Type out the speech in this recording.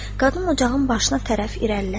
Qadın ocağın başına tərəf irəlilədi.